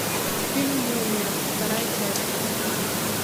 фильм мумия вторая часть